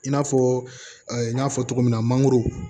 I n'a fɔ n y'a fɔ cogo min na mangoro